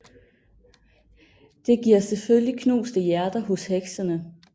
Det giver selvfølgelig knuste hjerter hos heksene